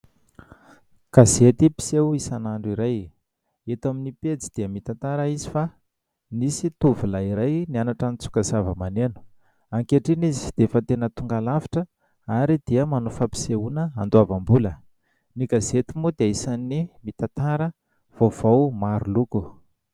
Gazety mpiseho isan'andro iray. Eto amin'ny pejy dia mitantara izy fa nisy tovolahy iray nianatra nitsoka zava-maneno. Ankehitriny izy dia efa tena tonga lavitra ary dia manao fampisehoana handoavam-bola. Ny gazety moa dia isan'ny mitantara vaovao maro loko.